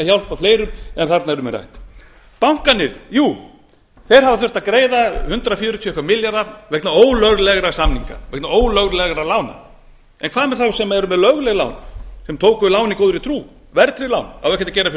hjálpa fleirum en þarna er um að ræða bankarnir hafa þurft að greiða hundrað fjörutíu og eitthvað milljarða vegna ólöglegra samninga vegna ólöglegra lána en hvað er að þá sem tóku lögleg lán sem tóku lán í góðri trú verðtryggð lán á ekkert að gera fyrir þá